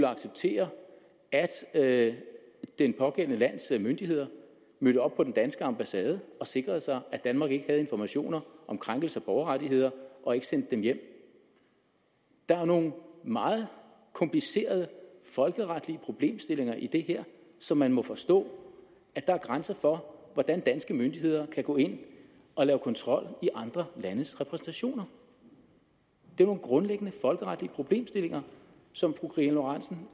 acceptere at det pågældende lands myndigheder mødte op på den danske ambassade og sikrede sig at danmark ikke havde informationer om krænkelse af borgerrettigheder og ikke sendte dem hjem der er nogle meget komplicerede folkeretlige problemstillinger i det her så man må forstå at der er grænser for hvordan danske myndigheder kan gå ind og lave kontrol i andre landes repræsentationer det er nogle grundlæggende folkeretlige problemstillinger som fru karina lorentzen